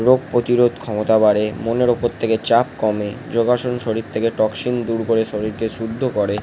রোগ প্রতিরোধ ক্ষমতা বাড়েমনের ওপর থেকে চাপ কমেযোগাসন শরীর থেকে টক্সিন দূর করে শরীর কে শুদ্ধ করে ।